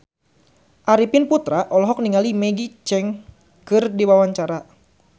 Arifin Putra olohok ningali Maggie Cheung keur diwawancara